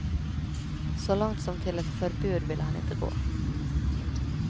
Så långt som till ett förbud vill han inte gå.